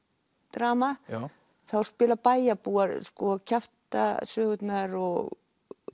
drama þá spila bæjarbúar sko kjaftasögurnar og